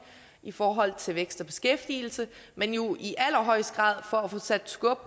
i forhold til vækst og beskæftigelse men jo i allerhøjeste grad for at få sat skub